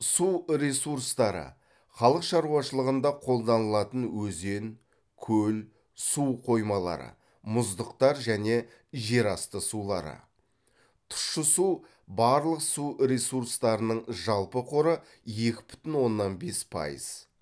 су ресурстары халық шаруашылығында қолданылатын өзен көл су қоймалары мұздықтар және жер асты сулары тұщы су барлық су ресурстарының жалпы қоры екі бүтін оннан бес пайыз